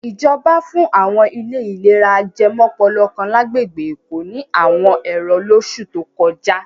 Ìjọba fún àwọn ilé ìlera ajẹmọ́pọlọ kan lágbègbè Èkó ní àwọn ẹ̀rọ lóṣù tó kọjá.